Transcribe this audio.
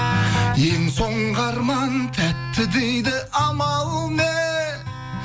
ең соңғы арман тәтті дейді амал не